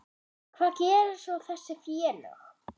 Hvað gera svo þessi félög?